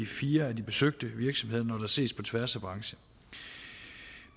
fire af de besøgte virksomheder når der ses på tværs af brancher